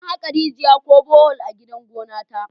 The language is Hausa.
An haka rigiya ko Bohol a gidan gona ta